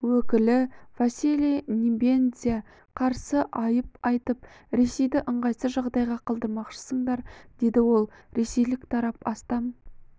өкілі василий небензя қарсы айып айтып ресейді ыңғайсыз жағдайға қалдырмақшысыңдар деді ол ресейлік тарап астам